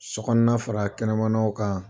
Sokɔnɔna fara kɛnɛmanaw kan